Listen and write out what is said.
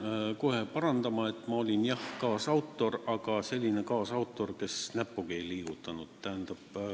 Pean kohe parandama, et ma olin jah kaasautor, aga selline kaasautor, kes näppugi ei liigutanud.